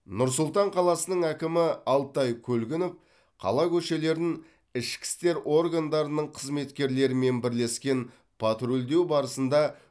нұр сұлтан қаласының әкімі алтай көлгінов қала көшелерін ішкі істер органдарының қызметкерлерімен бірлескен патрульдеу барысында